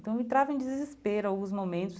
Então, eu entrava em desespero alguns momentos